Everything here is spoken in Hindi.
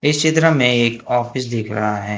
इस चित्र में एक ऑफिस दिख रहा है।